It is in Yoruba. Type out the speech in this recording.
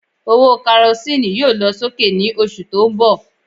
Owó Karosíìnù yóò lọ sókè ní oṣù tó ń bọ̀